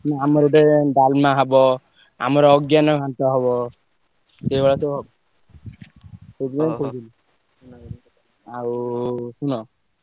ହୁଁ ଆମର ଗୋଟେ ଡାଲମା ହବ। ଆମର ଅଜ୍ଞାନ ଘାଣ୍ଟ ହବ। ଏଇଭଳିଆ ସବୁ ହବ। ସେଇଥିପାଇଁ କହିଲି। ଆଉ ଶୁଣ